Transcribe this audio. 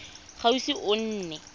ga o ise o nne